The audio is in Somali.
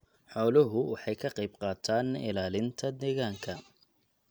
Xooluhu waxay ka qayb qaataan ilaalinta deegaanka.